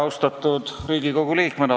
Austatud Riigikogu liikmed!